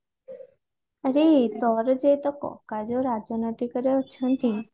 ଆରେ ତୋର ଯେ କକା ଯୋଉ ରାଜନୈତିକ ରେ ଅଛନ୍ତି